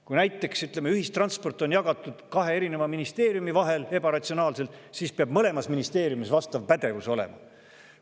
Kui näiteks, ütleme, ühistransport on jagatud kahe ministeeriumi vahel, ebaratsionaalselt, siis peab mõlemas ministeeriumis vastav pädevus olema.